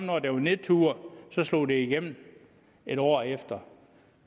når der var nedtur så slog det igennem en år efter